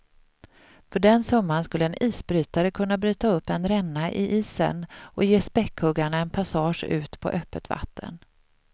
För den summan skulle en isbrytare kunna bryta upp en ränna i isen och ge späckhuggarna en passage ut på öppet vatten.